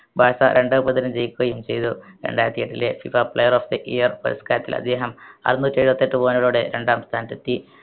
Barca രണ്ട് പതിനഞ്ചു ജയിക്കുകയും ചെയ്തു രണ്ടായിരത്തി ഏട്ടിലെ FIFAplayer of the year പുരസ്കാരത്തിൽ അദ്ദേഹം അറുന്നൂറ്റി ഏഴുവത്തെട്ട്‍ point കളോടെ രണ്ടാം സ്ഥാനത്തെത്തി